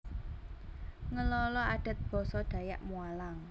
Ngelala Adat Basa Dayak Mualang